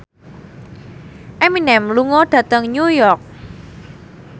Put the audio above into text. Eminem lunga dhateng New York